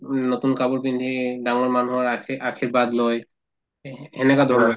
উম নতুন কাপোৰ পিন্ধি ডাঙৰ মানুহৰ আশী‍ আশীৰ্বাদ লই সেই সেনেকা ধৰণৰ